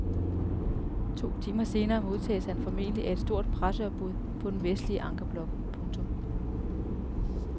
To timer senere modtages han formentlig af et stort presseopbud på den vestlige ankerblok. punktum